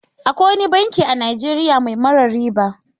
Akwai wani banki a Najeriya mai mara riba.